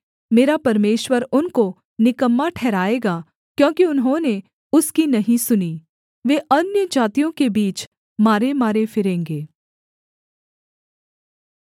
मेरा परमेश्वर उनको निकम्मा ठहराएगा क्योंकि उन्होंने उसकी नहीं सुनी वे अन्यजातियों के बीच मारेमारे फिरेंगे